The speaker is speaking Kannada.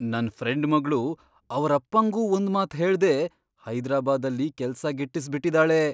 ನನ್ ಫ್ರೆಂಡ್ ಮಗ್ಳು ಅವರಪ್ಪಂಗೂ ಒಂದ್ಮಾತ್ ಹೇಳ್ದೆ ಹೈದರಾಬಾದಲ್ಲಿ ಕೆಲ್ಸ ಗಿಟ್ಟಿಸ್ಬಿಟಿದಾಳೆ!